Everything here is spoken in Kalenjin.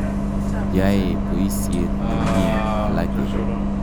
Yae poisyet ne mye alake.